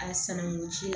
A sanankuncɛ